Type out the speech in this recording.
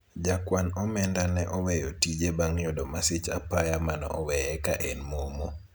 jakwan omenda ne oweyo tije bang' yudo masich apaya mane oweye ka en momo